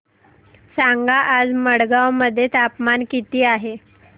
सांगा आज मडगाव मध्ये तापमान किती आहे